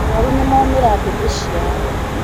arwaru nĩmomĩra ndĩmĩ ciao